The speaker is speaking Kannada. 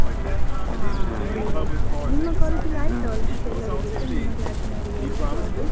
ಹ, ಒಳ್ಳೆ ವಿಷ್ಯ, ನಿಮ್ಮ college ಅಲ್ಲಿ ಆಯ್ತಾ almost ಎಲ್ಲರಿಗೆ ಸಹ ನಿಮ್ಮ class ನವರಿಗೆಲ್ಲ job ?